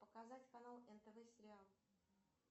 показать канал нтв сериал